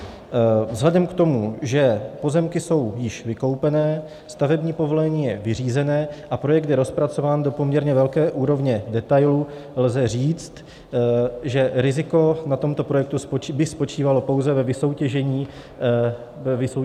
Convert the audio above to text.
Vzhledem k tomu, že pozemky jsou již vykoupené, stavební povolení je vyřízené a projekt je rozpracován do poměrně velké úrovně detailů, lze říct, že riziko na tomto projektu by spočívalo pouze ve vysoutěžení dodavatelů.